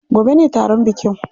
Gobe ne taron bikin.